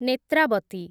Netravati